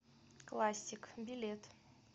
классик билет